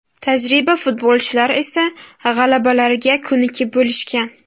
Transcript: Tajriba futbolchilar esa g‘alabalarga ko‘nikib bo‘lishgan.